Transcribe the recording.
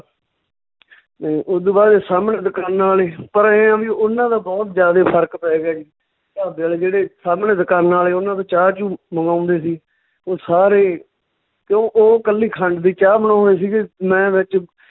ਤੇ ਓਦੂ ਬਾਅਦ 'ਚ ਸਾਹਮਣੇ ਦਕਾਨਾਂ ਆਲੇ ਪਰ ਐਂ ਆ ਵੀ ਉਹਨਾਂ ਦਾ ਬਹੁਤ ਜਿਆਦੇ ਫ਼ਰਕ ਪੈ ਗਿਆ ਜੀ, ਢਾਬੇ ਆਲੇ ਜਿਹੜੇ ਸਾਹਮਣੇ ਦਕਾਨਾਂ ਆਲੇ ਓਨਾਂ ਤੋਂ ਚਾਹ ਚੂਹ ਮੰਗਾਉਂਦੇ ਸੀ, ਓਹ ਸਾਰੇ ਕਿਉਂ ਓਹ ਕੱਲੀ ਖੰਡ ਦੀ ਚਾਹ ਬਣਾਉਂਦੇ ਸੀਗੇ ਮੈਂ ਵਿੱਚ